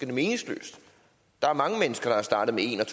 det meningsløst der er mange mennesker der er startet med en